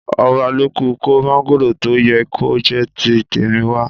Ọbalolú kò mángòrò tó yẹ kó jẹ́ ti tèmi wa.